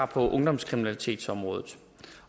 på ungdomskriminalitetsområdet